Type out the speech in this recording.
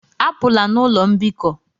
Apụla n'ụlọ mbikọ!